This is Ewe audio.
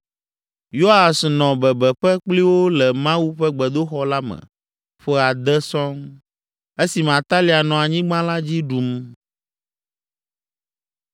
Yoas nɔ bebeƒe kpli wo le Mawu ƒe gbedoxɔ la me ƒe ade sɔŋ, esime Atalia nɔ anyigba la dzi ɖum.